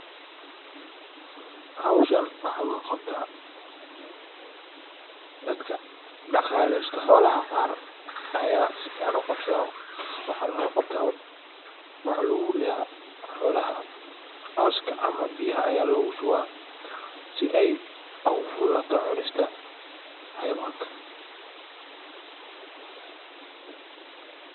Howshan waxa loo qabta dadka dhaqalesto xolaha qaar ayaa si fican u qabta. Waxana loo qabta waxa lagu ridha xolaha cawska ama biyaha aya lagu shubaa si ay ugu fududhato cunista xayawanka.